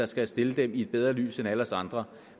skal stille dem i et bedre lys end alle os andre